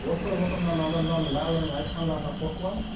осы отырған адамдардың барлығының айтқандарына қосыламын